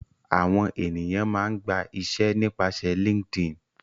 Àwọn ènìyàn máa ń gba iṣẹ́ nípasẹ̀ Linkedin